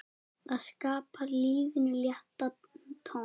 Það skapar lífinu léttan tón.